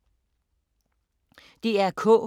DR K